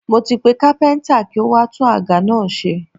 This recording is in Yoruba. Mo ti pe kápẹ́ntà kí ó wá tún àga náà ṣe.